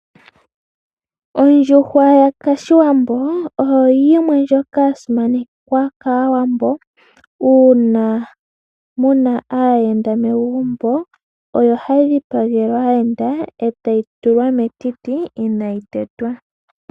Ondjuhwa ya kashiwambo, oyo yimwe ndjoka ya simanekwa kaawambo. Uuna muna aayenda megumbo, oyo hayi dhi pagelwa aayenda, etayi tulwa metiti inaayi tetwa.